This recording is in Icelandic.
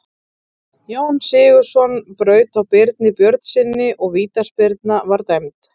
Jón Sigurðsson braut á Birni Björnssyni og vítaspyrna var dæmd.